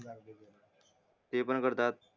ते पण करतात